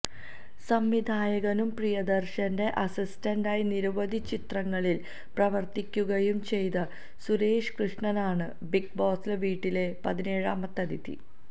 സംവിധായകനും പ്രിയദർശന്റെ അസിസ്റ്റന്റായി നിരവധി ചിത്രങ്ങളിൽ പ്രവർത്തിക്കുകയും ചെയ്ത സുരേഷ് കൃഷ്ണനാണ് ബിഗ് ബോസ് വീട്ടിലെ പതിനേഴാമത്തെ അതിഥി